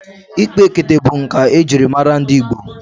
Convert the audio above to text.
Ikpa ekete bụ nkà ejiri mara ndị Igbo.